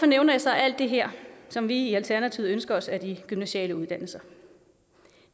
nævner jeg så alt det her som vi i alternativet ønsker os af de gymnasiale uddannelser